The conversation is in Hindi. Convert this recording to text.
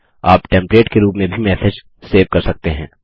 आप टेम्पलेट के रूप में भी मैसेज सेव कर सकते हैं